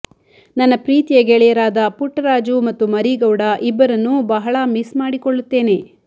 ನನ್ನ ಪ್ರೀತಿಯ ಗೆಳೆಯರಾದ ಪುಟ್ಟರಾಜು ಮತ್ತು ಮರೀಗೌಡ ಇಬ್ಬರನ್ನು ಬಹಳ ಮಿಸ್ ಮಾಡಿಕೊಳ್ಳುತ್ತೇನೆ